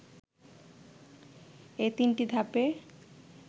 এ তিনটিধাপে